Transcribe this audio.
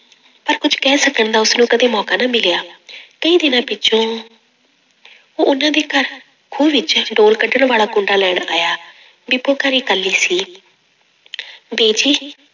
ਪਰ ਕੁੱਝ ਕਹਿ ਸਕਣ ਦਾ ਉਸਨੂੰ ਕਦੇ ਮੌਕਾ ਨਾ ਮਿਲਿਆ ਕਈ ਦਿਨਾਂ ਪਿੱਛੋਂ ਉਹਨਾਂ ਦੇ ਘਰ ਖੂਹ ਵਿੱਚ ਡੋਰ ਕੱਢਣ ਵਾਲਾ ਕੁੰਡਾ ਲੈਣ ਆਇਆ ਬੀਬੀ ਘਰੇ ਇਕੱਲੀ ਸੀ ਬੀਜੀ